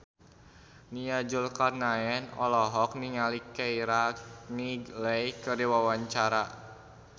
Nia Zulkarnaen olohok ningali Keira Knightley keur diwawancara